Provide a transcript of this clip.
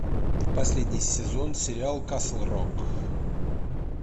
последний сезон сериал касл рок